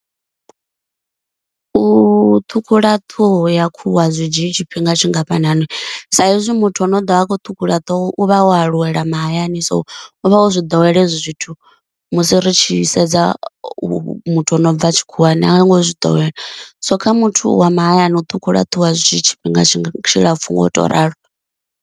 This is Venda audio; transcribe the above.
U ṱhukhula ṱhoho ya khuhu a zwi dzhii tshifhinga tshingafhanani sa izwi muthu ane a ḓovha a kho ṱhukhula ṱhoho u vha o aluwela mahayani, so u vha o zwi ḓowela hezwo zwithu, musi ri tshi sedza u muthu ano bva a tshikhuwani anga ngo zwi ḓowela so kha muthu wa mahayani u ṱhukhula ṱhoho a zwi dzhii tshifhinga tshilapfhu nga u to ralo.